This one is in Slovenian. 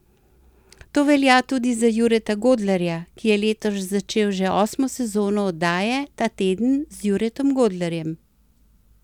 To velja tudi za Jureta Godlerja, ki je letos začel že osmo sezono oddaje Ta teden z Juretom Godlerjem.